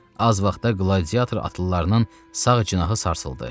Az vaxtda qladiator atlılarının sağ cinahı sarsıldı.